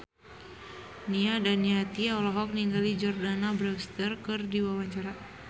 Nia Daniati olohok ningali Jordana Brewster keur diwawancara